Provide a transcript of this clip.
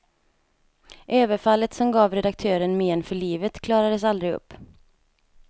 Överfallet, som gav redaktören men för livet, klarades aldrig upp.